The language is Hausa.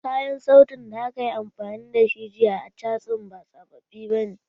Kayan sautin da aka yi amfani da shi jiya a casun ba sababbi bane.